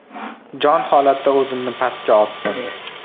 Jon holatda o‘zimni pastga otdim.